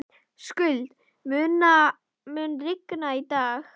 Skuld, mun rigna í dag?